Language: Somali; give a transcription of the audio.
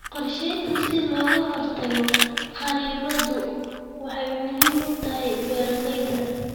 Qorshaynta si looga hortago kharribadu waxay muhiim u tahay beeralayda.